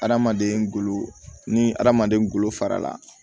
Hadamaden ngolo ni hadamaden ngolo fara la